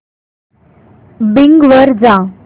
Bing वर जा